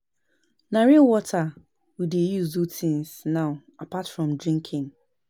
Na rain water we dey use do things now apart from drinking